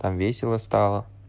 там весело стало